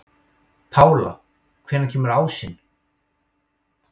Pála, hvenær kemur ásinn?